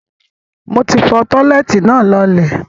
Moti fọ̀ọ̀ tọ́lẹ́ẹ́tì náà lọ ilẹ̀.